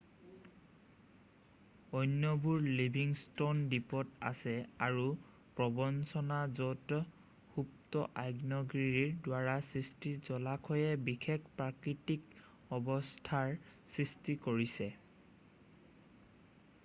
অন্যবোৰ Livingston দ্বীপত আছে আৰু প্ৰৱঞ্চনা য'ত সুপ্ত আগ্নেয়গিৰিৰ দ্বাৰা সৃষ্ট জলাশয়ে বিশেষ প্ৰাকৃতিক অৱস্থাৰ সৃষ্টি কৰিছে